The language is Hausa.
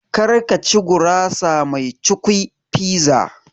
Kar ka ci gurasa mai cukwi (Pizza)!